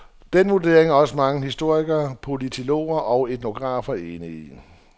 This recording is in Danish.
Den vurdering er også mange historikere, politologer og etnografer enige i.